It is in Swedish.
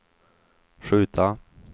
skjuta